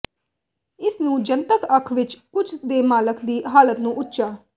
ਇਸ ਨੂੰ ਜਨਤਕ ਅੱਖ ਵਿੱਚ ਕੁਝ ਦੇ ਮਾਲਕ ਦੀ ਹਾਲਤ ਨੂੰ ਉੱਚਾ